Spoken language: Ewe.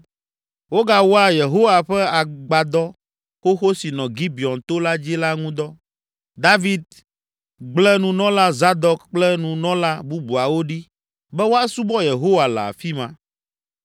Wogawɔa Yehowa ƒe Agbadɔ xoxo si nɔ Gibeon to la dzi la ŋu dɔ. David gble Nunɔla Zadok kple Nunɔla bubuawo ɖi be woasubɔ Yehowa le afi ma.